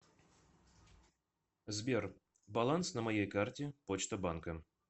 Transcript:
сбер баланс на моей карте почта банка